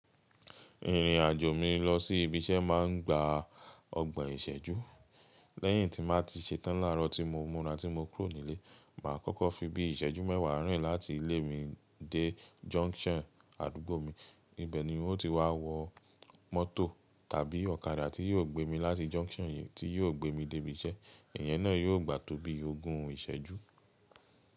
Ìrìn àjò mi lọ sí ibi iṣẹ́ máa ń gba ọgbọ̀n ìṣẹ́jú. Lẹ́yìn tí màá ti ṣe tán láàárọ̀ tí mo mura tí mo kúrò nílé, màá kọ́kọ́ fi bí i ìṣẹ́jú mẹ́wàá rìn láti ilé mi dé junction àdúgbò mi, níbẹ̀ ni uno ti wá wọ mọ́tò tàbí ọ̀kadà tí yóò gbé mi láti junction yẹn tí yóò gbé mi dé ibi iṣẹ́. Ìyẹn náà yóò gbà tó bí ogún ìṣẹ́jú.